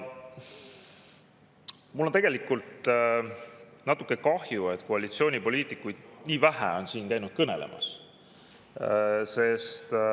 Mul on tegelikult natuke kahju, et koalitsioonipoliitikuid on siin nii vähe käinud kõnelemas.